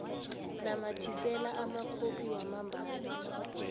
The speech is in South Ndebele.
namathisela amakhophi wamambala